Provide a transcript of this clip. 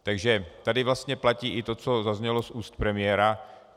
Takže tady vlastně platí i to, co zaznělo z úst premiéra.